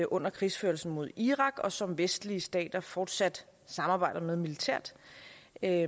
under krigsførelsen mod irak og som vestlige stater fortsat samarbejde med militært